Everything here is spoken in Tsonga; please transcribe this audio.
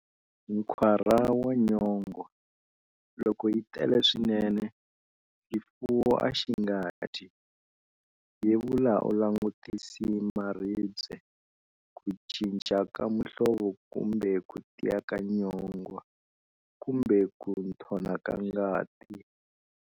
Nkwara wa nyongwa-Loko yi tele swinene, xifuwo a xi nga dyi. Yevula u langutisi maribye, ku cinca ka muhlvo kumbe ku tiya ka nyongwa, kumbe ku nthona ka ngati.